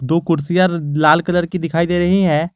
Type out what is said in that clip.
दो कुर्सियां लाल कलर की दिखाई दे रही हैं।